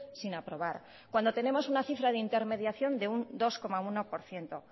sin aprobar cuando tenemos una cifra de intermediación de un dos coma uno por ciento